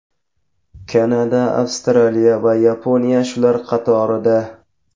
Kanada, Avstraliya va Yaponiya shular qatorida.